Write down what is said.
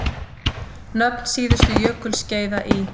Nöfn síðustu jökulskeiða í